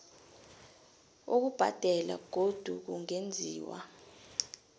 ukubhadela godu kungenziwa